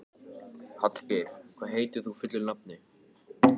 Hallgeir, hvað heitir þú fullu nafni?